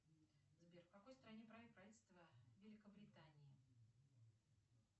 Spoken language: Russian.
сбер в какой стране правит правительство великобритании